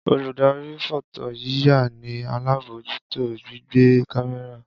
Oludari fọtoyiya ni alabojuto gbigbe kamẹra.